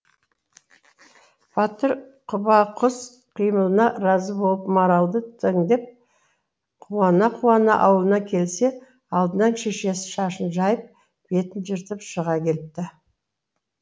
батыр құбақұс қимылына разы болып маралды теңдеп қуана қуана аулына келсе алдынан шешесі шашын жайып бетін жыртып шыға келіпті